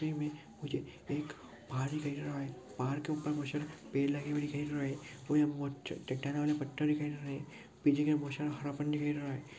मुझे एक पहाड़ दिखाई दे रहा है पहाड़ के ऊपर मुझे पेड़ लगे हुए दिखाई दे रहा है और यहाँ म--मुझे चट्टान वाले पत्थर दिखाई दे रहा है।